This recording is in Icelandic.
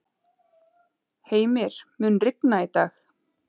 Heimir, mun rigna í dag?